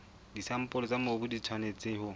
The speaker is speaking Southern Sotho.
disampole tsa mobu di tshwanetse